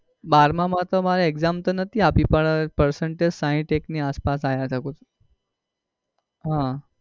બારમા માં તો મારે exam તો નતી આપી પણ percentage સાહીંઠ એક ની આસપાસ આવ્યા હતા કોઈ હમ